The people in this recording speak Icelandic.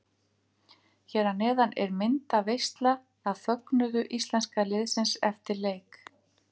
Hér að neðan er myndaveisla af fögnuðu íslenska liðsins eftir leik.